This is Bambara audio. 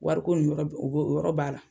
Wari ko nin yɔrɔ, o bɛ o yɔrɔ b'a la